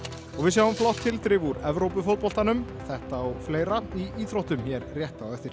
og við sjáum flott tilþrif úr þetta og fleira í íþróttum hér rétt á eftir